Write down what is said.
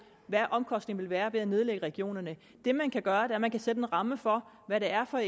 hvad omkostningerne er ved at nedlægge regionerne det man kan gøre er at man kan sætte en ramme for hvad det er for